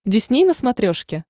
дисней на смотрешке